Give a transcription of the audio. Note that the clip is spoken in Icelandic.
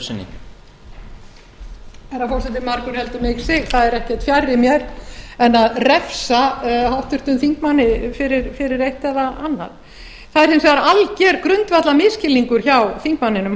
herra forseti margur heldur mig sig það er ekkert fjarri mér en að refsa h þingmanni fyrir eitt eða annað það er hins vegar alger grundvallarmisskilningur hjá þingmanninum